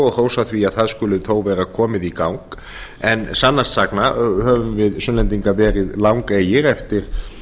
og hrósa því að það skuli þó vera komið í gang en sannast sagna höfum við sunnlendingar verið langeygir eftir